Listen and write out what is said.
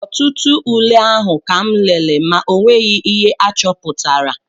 Ọtụtụ ule ahụ kam lere ma o nweghị ihe achọpụtara